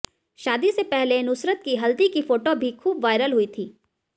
शादी से पहले नुसरत की हल्दी की फोटो भी खूब वायरल हुई थीं